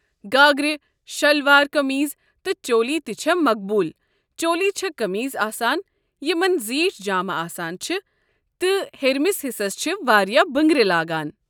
گاگرٕ، شِلوار کمیٖز تہٕ چولی تہٕ چھےٚ مقبوٗل ۔ چولی چھےٚ کمیٖزٕ آسان یمن زیٖٹھۍ جامہِ آسان چھِ تہٕ ہیرِمِس حِصس چھےٚ واریاہ بٕنٛگرِ لاگان۔